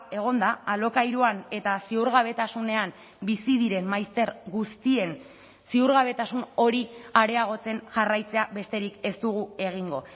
egon da alokairuan eta ziurgabetasunean bizi diren maizter guztien ziurgabetasun hori areagotzen jarraitzea besterik ez dugu egingo